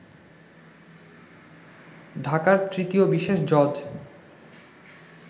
ঢাকার তৃতীয় বিশেষ জজ